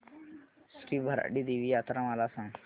श्री भराडी देवी यात्रा मला सांग